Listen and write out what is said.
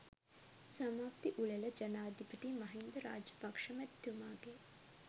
සමාප්ති උළෙල ජනාධිපති මහින්ද රාජපක්ෂ මැතිතුමාගේ